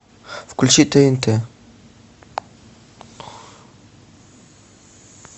включи тнт